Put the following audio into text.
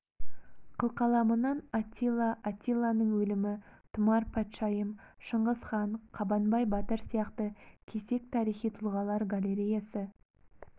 қылқаламынан аттила аттиланың өлімі тұмар патшайым шыңғыс хан қабанбай батыр сияқты кесек тарихи тұлғалар галареясы